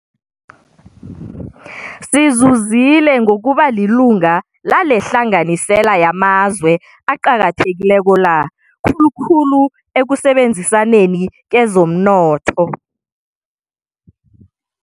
Sizuzile ngokubalilunga lalehlanganisela yamazwe aqakathekileko la, khulukhulu ekusebenzisaneni kezomnotho.